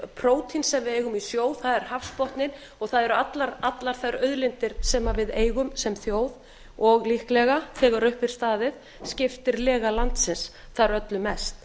prótín sem við eigum í sjó það er hafsbotninn og það eru allar þær auðlindir sem við eigum sem þjóð og líklega þegar upp er staðið skiptir lega landsins þar öllu mest